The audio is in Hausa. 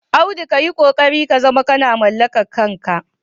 Audu ka yi ƙoƙari ka zama kana mallakar kanka.